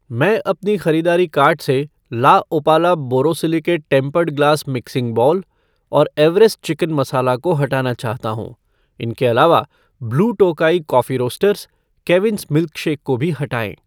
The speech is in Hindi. मैं अपने ख़रीदारी कार्ट से LaOpala borosilicate tempered glass mixing bowl और एवेरेस्ट चिकन मसाला को हटाना चाहता हूँ । इनके अलावा ब्लू टोकाई कॉफ़ी रोस्टर्स , केविंस मिल्कशेक को भी हटाएं।